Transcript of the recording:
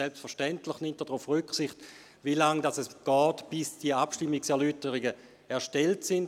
Selbstverständlich nimmt er darauf Rücksicht, wie lange es dauert, bis die Abstimmungserläuterungen erstellt sind.